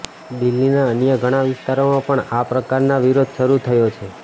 દિલ્હીના અન્ય ઘણા વિસ્તારોમાં પણ આ પ્રકારનો વિરોધ શરૂ થયો છે